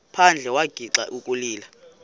phandle wagixa ukulila